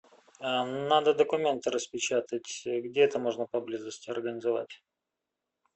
надо документы распечатать где это можно поблизости организовать